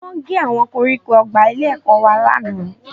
Wọ́n gé àwọn koríko ọgbà ilé-ẹ̀kọ́ wa lánàá